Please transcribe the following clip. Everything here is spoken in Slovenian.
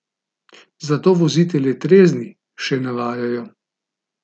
Zato vozite le trezni, še navajajo.